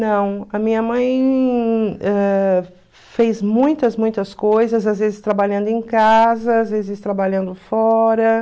Não, a minha mãe fez muitas, muitas coisas, às vezes trabalhando em casa, às vezes trabalhando fora.